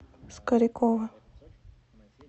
скорикова